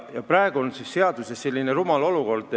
Praegu on seaduse tõttu rumal olukord.